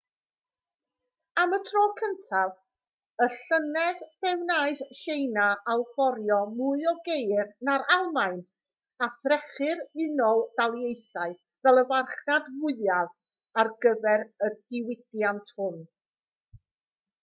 am y tro cyntaf y llynedd fe wnaeth tsieina allforio mwy o geir na'r almaen a threchu'r unol daleithiau fel y farchnad fwyaf ar gyfer y diwydiant hwn